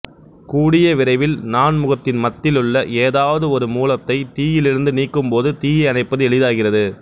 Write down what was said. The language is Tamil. கூடிய விரைவில் நான்முகத்திண்மத்திலுள்ள ஏதாவது ஒரு மூலத்தை தீயிலிருந்து நீக்கும் போது தீயை அணைப்பது எளிதாகிறது